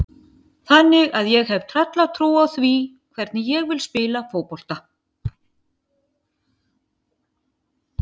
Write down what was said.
Þannig að ég hef tröllatrú á því hvernig ég vil spila fótbolta.